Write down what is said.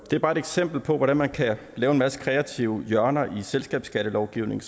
det er bare et eksempel på hvordan man kan lave en masse kreative hjørner i selskabsskattelovgivningen